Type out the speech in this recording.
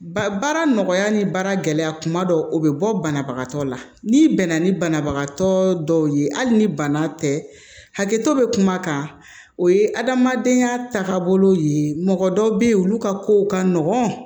Ba baara nɔgɔya ni baara gɛlɛya kuma dɔ o bɛ bɔ banabagatɔ la n'i bɛnna ni banabagatɔ dɔw ye hali ni bana tɛ hakɛto bɛ kuma kan o ye adamadenya taabolo ye mɔgɔ dɔw bɛ yen olu ka kow ka nɔgɔn